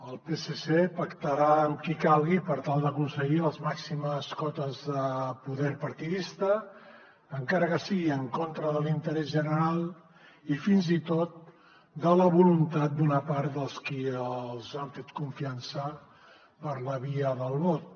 el psc pactarà amb qui calgui per tal d’aconseguir les màximes cotes de poder partidista encara que sigui en contra de l’interès general i fins i tot de la voluntat d’una part dels qui els han fet confiança per la via del vot